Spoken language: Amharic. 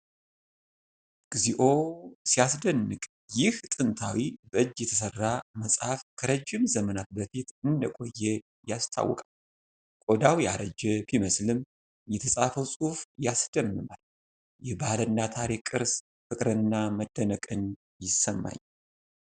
እግዚኦ ሲያስደንቅ! ይህ ጥንታዊ በእጅ የተሰራ መጽሐፍ ከረጅም ዘመናት በፊት እንደቆየ ያስታውቃል። ቆዳው ያረጀ ቢመስልም የተጻፈው ጽሑፍ ያስደምማል። የባህልና ታሪክ ቅርስ! ፍቅርና መደነቅ ይሰማኛል።